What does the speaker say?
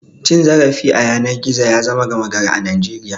Cim zarafi a yanar gizo ya zama gama gari a Najeriya.